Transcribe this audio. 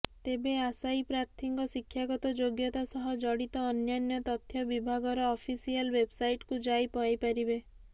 ତେବେ ଆଶାୟୀପ୍ରାର୍ଥୀଙ୍କ ଶିକ୍ଷାଗତ ଯୋଗ୍ୟତା ସହ ଜଡିତ ଅନ୍ୟାନ୍ୟ ତଥ୍ୟ ବିଭାଗର ଅଫିସିଆଲ ୱେବସାଇଟକୁ ଯାଇ ପାଇପାରିବେ